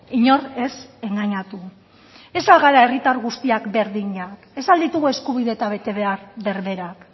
inor ez engainatu ez al gara herritar guztiak berdinak ez al ditugu eskubide eta betebehar berberak